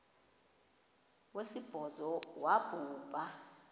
wesibhozo wabhu bha